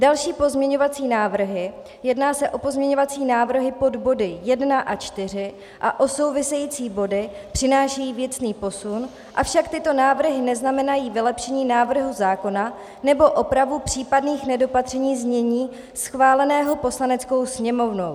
Další pozměňovací návrhy - jedná se o pozměňovací návrhy pod body 1 a 4 a o související body - přinášejí věcný posun, avšak tyto návrhy neznamenají vylepšení návrhu zákona nebo opravu případných nedopatření znění schváleného Poslaneckou sněmovnou.